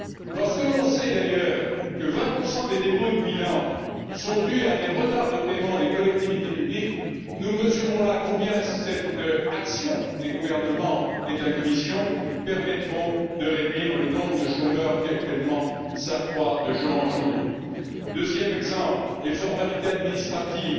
Lorsque l'on sait, d'ailleurs, que 20 des dépôts de bilan sont dus à des retards de paiement des collectivités publiques, nous mesurons là combien cette action des gouvernements et de la Commission permettra de réduire le nombre de chômeurs qui actuellement s'accroît de jour en jour. Deuxième exemple les formalités administratives.